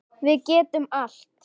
Við getum allt.